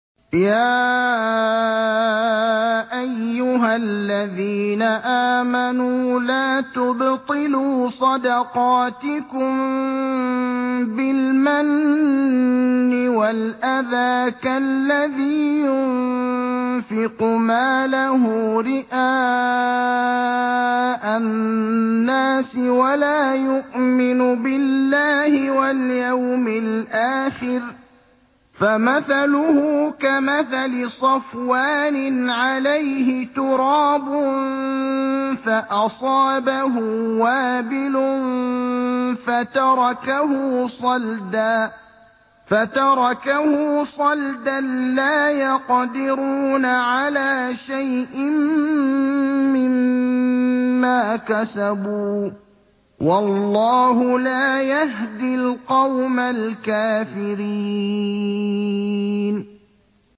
يَا أَيُّهَا الَّذِينَ آمَنُوا لَا تُبْطِلُوا صَدَقَاتِكُم بِالْمَنِّ وَالْأَذَىٰ كَالَّذِي يُنفِقُ مَالَهُ رِئَاءَ النَّاسِ وَلَا يُؤْمِنُ بِاللَّهِ وَالْيَوْمِ الْآخِرِ ۖ فَمَثَلُهُ كَمَثَلِ صَفْوَانٍ عَلَيْهِ تُرَابٌ فَأَصَابَهُ وَابِلٌ فَتَرَكَهُ صَلْدًا ۖ لَّا يَقْدِرُونَ عَلَىٰ شَيْءٍ مِّمَّا كَسَبُوا ۗ وَاللَّهُ لَا يَهْدِي الْقَوْمَ الْكَافِرِينَ